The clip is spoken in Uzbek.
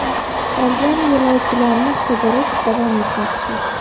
Qolgan yo‘lovchilarni qidirish davom etmoqda.